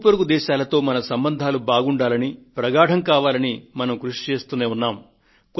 ఇరుగు పొరుగు దేశాలతో మన సంబంధాలు బాగుండాలని ప్రగాఢం కావాలని మనం కృషి చేస్తూనే ఉన్నాము